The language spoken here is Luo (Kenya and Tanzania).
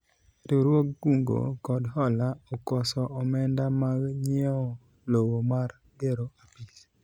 riwruog kungo kod hola okoso omenda mag nyiewo lowo mar gero apis